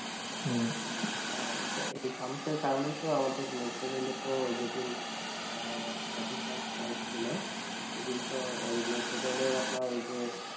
হ্যাঁ এইটা এই ফানুসে কারণ তো আমাদের metro rail তো যে দিন thirty first night ছিল সেই দিন তো ওই metro rail এ আপনার ঐই যে